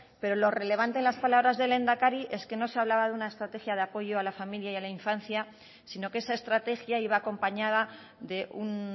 pero lo relevante en las palabras del lehendakari es que no se hablaba de una estrategia de apoyo a la familia y a la infancia sino que esa estrategia iba acompañada de un